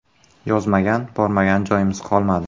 Yozmagan, bormagan joyimiz qolmadi.